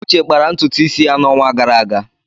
Uche kpara ntutu isi ya n'ọnwa gara aga.